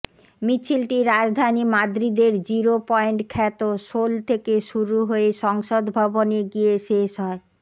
মিছিলটি রাজধানী মাদ্রিদের জিরো পয়েন্ট খ্যাত সোল থেকে শুরু হয়ে সংসদ ভবনে গিয়ে শেষ হয়